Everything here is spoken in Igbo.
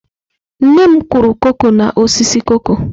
Nne m kụrụ koko n'osisi koko.